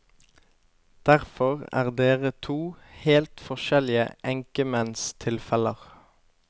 Derfor er dere to helt forskjellige enkemennstilfeller.